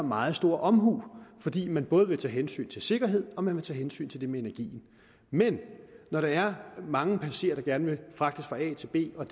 meget stor omhu fordi man både vil tage hensyn til sikkerheden og man vil tage hensyn til det med energien men når der er mange passagerer der gerne vil fragtes fra a til b og